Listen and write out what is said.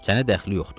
Sənə dəxli yoxdur.